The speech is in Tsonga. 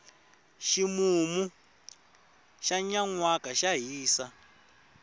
ximumu xa nyanwaka xa hisa